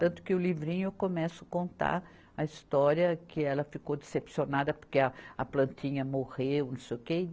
Tanto que o livrinho eu começo contar a história que ela ficou decepcionada porque a, a plantinha morreu e não sei o quê.